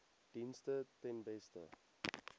dienste ten beste